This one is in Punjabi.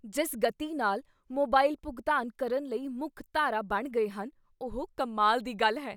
ਜਿਸ ਗਤੀ ਨਾਲ ਮੋਬਾਈਲ ਭੁਗਤਾਨ ਕਰਨ ਲਈ ਮੁੱਖ ਧਾਰਾ ਬਣ ਗਏ ਹਨ ਉਹ ਕਮਾਲ ਦੀ ਗੱਲ ਹੈ।